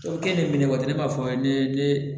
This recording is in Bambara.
O kɛ ni minɛ waati ne b'a fɔ ne